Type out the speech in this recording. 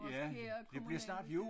Måske er kommunal